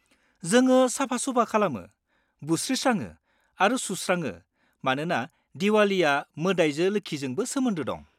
जोङो साफा-सुफा खालामो, बुस्रिस्राङो आरो सुस्राङो मानोना दिवालीया मोदाइजो लोक्षिजोंबो सोमोन्दो दं।